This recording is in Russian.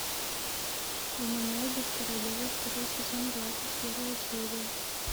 гуманоиды в королеве второй сезон двадцать первая серия